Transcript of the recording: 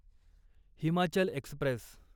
Himachal Express